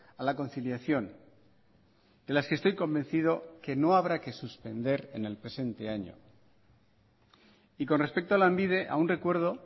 a la conciliación de las que estoy convencido que no habrá que suspender en el presente año y con respecto a lanbide aún recuerdo